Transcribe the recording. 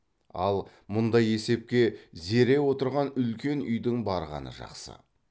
ал мұндай есепке зере отырған үлкен үйдің барғаны жақсы